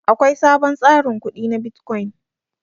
Akwai sabon tsarin kudi na bitcoin.